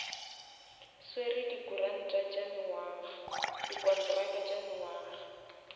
swere di kontraka tša mengwaga